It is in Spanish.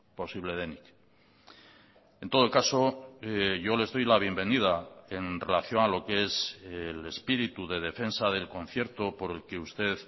posible denik en todo caso yo les doy la bienvenida en relación a lo que es el espíritu de defensa del concierto por el que usted